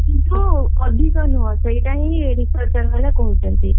କିନ୍ତୁ ଅଧିକ ନୁହଁ ସେଇଟା ହିଁ researcher ମାନେ କହୁଛନ୍ତି।